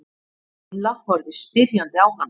Milla horfði spyrjandi á hana.